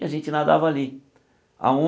E a gente nadava ali.